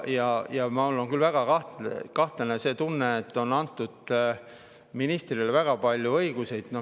Mul on väga kahtlane tunne, et ministrile on antud väga palju õigusi.